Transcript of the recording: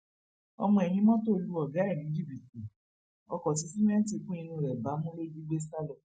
ọmọ ẹyìn mọtò lu ọgá ẹ ní jìbìtì ọkọ tí sìmẹǹtì kún inú ẹ bámú ló jí gbé sá lọ